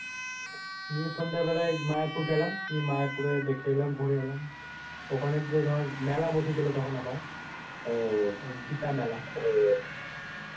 নিয়ে সন্ধ্যাবেলায় মায়াপুর গেলাম। মায়াপুর দেখে এলাম ঘুরে এলাম। ওখানে তো দর মেলা বসেছিল আবার ঐ গিতা মেলা।